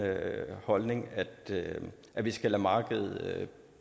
holdning at vi skal lade markedet